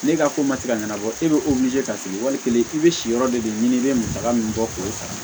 Ne ka ko ma se ka ɲɛnabɔ e bɛ ka sigi wali kelen i bɛ si yɔrɔ de ɲini i bɛ musaka min bɔ k'o sara